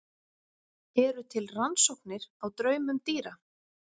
Eru til rannsóknir á draumum dýra?